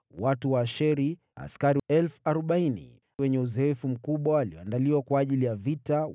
Watu wa Asheri, askari 40,000 wenye uzoefu mkubwa waliondaliwa kwa ajili ya vita.